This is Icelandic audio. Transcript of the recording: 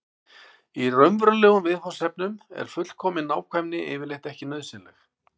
í raunverulegum viðfangsefnum er fullkomin nákvæmni yfirleitt ekki nauðsynleg